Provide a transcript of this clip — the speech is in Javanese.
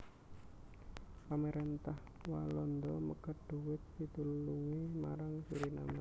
Pamaréntah Walanda megat dhuwit pitulungé marang Suriname